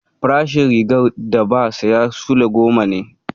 Farashin rigar da ba saya sule goma ne